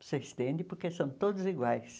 Você estende porque são todos iguais.